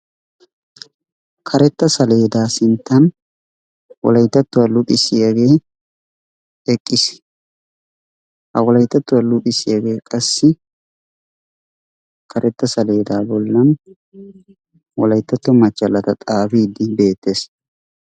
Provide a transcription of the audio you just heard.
Karetta saleedaa sinttaan wolayttattuwaa luxxisiyaagee eqqiis. Ha wolayttattuwaa luxxisiyaagee qassi karetta saleedaa bollaan wolayttatto machchallata xaafiidi beettees.